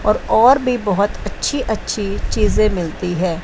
और भी बहोत अच्छी अच्छी चीजे मिलती है।